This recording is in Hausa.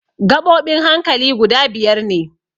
Gaɓoɓin hankali guda biyar ne.